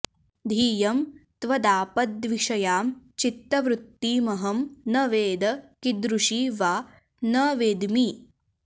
धियं त्वदापद्विषयां चित्तवृत्तिमहं न वेद कीदृशी वा न वेद्मि